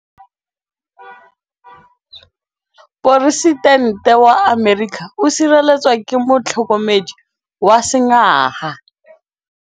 Poresitêntê wa Amerika o sireletswa ke motlhokomedi wa sengaga.